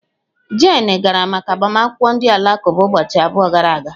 Jane gara maka agbamakwụkwọ ndị Alakụba ụbọchị abụọ gara aga.